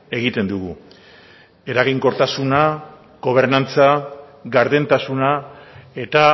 egiten dugu eraginkortasuna gobernantza gardentasuna eta